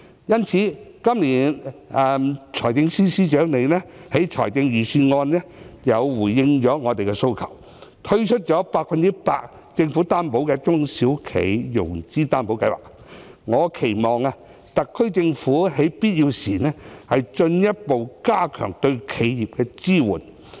因此，今年財政司司長在預算案回應了我們的訴求，政府推出了 100% 擔保的"中小企融資擔保計劃"，我期望特區政府在必要時，進一步加強對企業的支援。